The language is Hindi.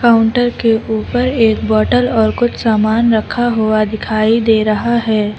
काउंटर के ऊपर एक बॉटल और कुछ सामान रखा हुआ दिखाई दे रहा है।